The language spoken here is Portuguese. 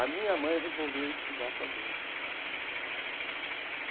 A minha mãe resolveu estudar com a gente.